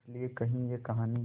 इस लिये कही ये कहानी